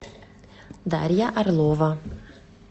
дарья орлова